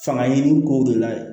Fanga ɲini kow de la